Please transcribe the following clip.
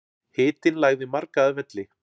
Hitinn lagði marga að velli